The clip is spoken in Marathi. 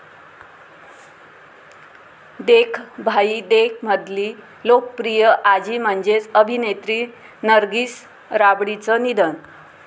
देख भाई देख'मधली लोकप्रिय आजी म्हणजेच अभिनेत्री नर्गिस राबडींचं निधन